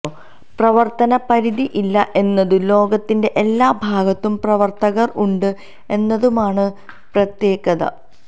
പ്രവർത്തന പരിധി ഇല്ല എന്നതും ലോകത്തിന്റെ എല്ലാ ഭാഗത്തും പ്രവർത്തകർ ഉണ്ട് എന്നതുമാണ് പ്രത്തേകത